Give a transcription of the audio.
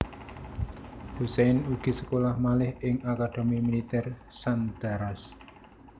Hussein ugi sekolah malih ing Akademi Militèr Sandhurst